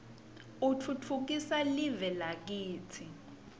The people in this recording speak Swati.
utfutfukisa live lakitsi